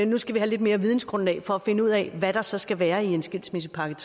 nu skal vi have lidt mere vidensgrundlag for at finde ud af hvad der så skal være i en skilsmissepakke